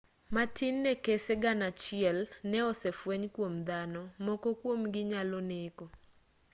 matin ne kese gana achiel ne osefweny kuom dhano moko kuom-gi nyalo neko